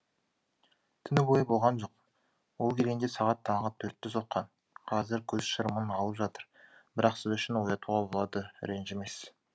түні бойы болған жоқ ол келгенде сағат таңғы төртті соққан қазір көз шырымын алып жатыр бірақ сіз үшін оятуға болады ренжімес